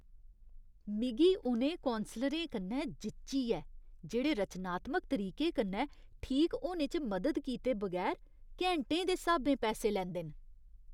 मिगी उ'नें कौंसलरें कन्नै जिच्ची ऐ जेह्ड़े रचनात्मक तरीके कन्नै ठीक होने च मदद कीते बगैर घैंटें दे स्हाबें पैसे लैंदे न।